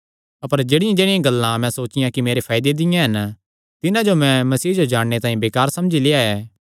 अपर जेह्ड़ियांजेह्ड़ियां गल्लां मैं सोचियां कि मेरे फायदे दियां हन तिन्हां जो मैं मसीह जो जाणने तांई बेकार समझी लेआ ऐ